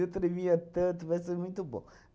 Eu tremia tanto, mas foi muito bom.